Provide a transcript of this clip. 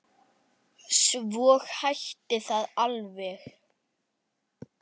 Svo hætti það alveg.